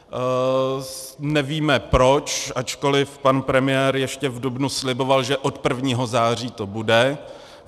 Nevíme proč, ačkoliv pan premiér ještě v dubnu sliboval, že od 1. září to bude.